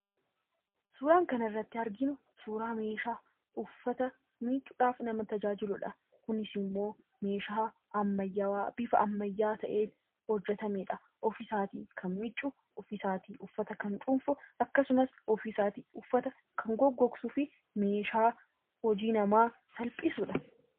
Suuraan kanarratti arginu suuraa meeshaa uffata miiccuudhaaf nama tajaajiludha. Kunis immoo meeshaa ammayyaawaa bifa ammayyaa ta'een hojjatamedha. ofiisaatii uffata kan miicuu, ofiisaatii kan gogsu meeshaa hojii namaa salphisudha.